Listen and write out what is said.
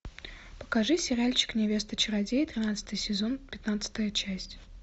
покажи сериальчик невеста чародея тринадцатый сезон пятнадцатая часть